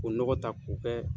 K'o nɔgɔ ta k'o kɛ